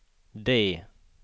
D